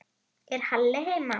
Er Halli heima?